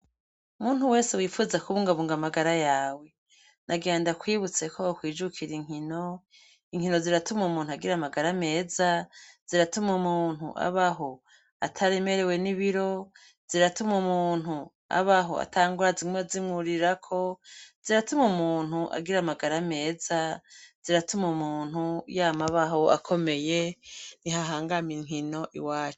Muntu wese wifuza kubungabunga amagara yawe nagira ndakwibutse ko kwijukira inkino inkino ziratuma umuntu agira amagara meza, ziratuma umuntu abaho ataremerewe n'ibiro, ziratuma umuntu abaho ata ngwara zimwa zimwukuririrako, ziratuma umuntu agira amagara ameza, ziratuma umuntu yama abaho akomeye, ni hahangame inkino iwacu